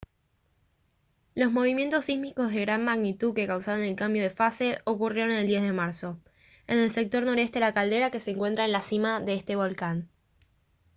los movimientos sísmicos de gran magnitud que causaron el cambio de fase ocurrieron el 10 de marzo en el sector noreste de la caldera que se encuentra en la cima de este volcán